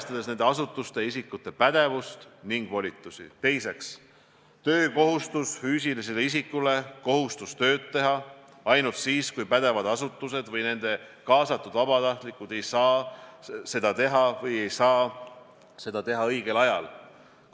Kui me nüüd võrdleme riike, kus on edukalt võideldud koroonaviirusega, nende riikidega, kus on olnud see korraldus väga halb – näiteks Iisrael, Itaalia, Prantsusmaa ja mõni teine Euroopa riik –, siis me näeme sama mustrit nagu Eestis.